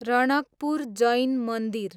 रणकपुर जैन मन्दिर